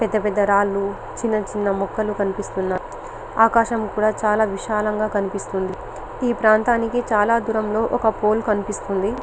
పెద్ద పెద్ద రాళ్లు చిన్న చిన్న మొక్కలు కనిపిస్తున్నాయి ఆకాశం కూడా చాల విశాలంగా కనిపిస్తుంది ఈ ప్రాంతానికి చాల దూరం లో ఒక పోలె కనిపిస్తుంది .